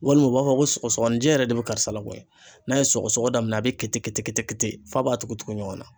Walima u b'a fɔ ko sɔgɔsɔgɔninjɛ yɛrɛ de bɛ karisa l koyi, n'a ye sɔgɔsɔgɔ daminɛ a bɛ kete kete f'a b'a tugutugu ɲɔgɔnna.